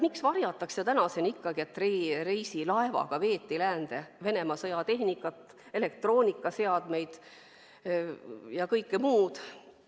Miks varjatakse tänaseni, et reisilaevaga veeti läände Venemaa sõjatehnikat, elektroonikaseadmeid ja muud?